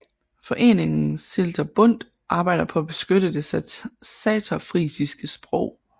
Foreningen Seelter Bund arbejder på at beskytte det saterfrisiske sprog